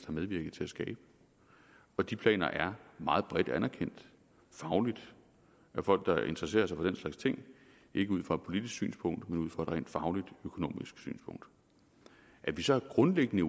medvirket til at skabe og de planer er meget bredt anerkendt fagligt af folk der interesserer sig for den slags ting ikke ud fra et politisk synspunkt men ud fra et rent fagligt økonomisk synspunkt at vi så grundlæggende